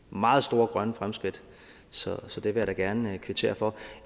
meget store grønne fremskridt så så det vil jeg da gerne kvittere for